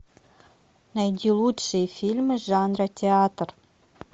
найди лучшие фильмы жанра театр